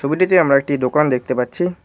ছবিটিতে আমরা একটি দোকান দেখতে পাচ্ছি।